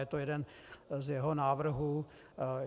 Je to jeden z jeho návrhů.